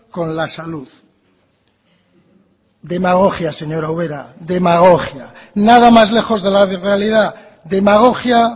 con la salud demagogia señora ubera demagogia nada más lejos de la realidad demagogia